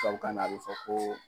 tubabu kanna a bɛ fo ko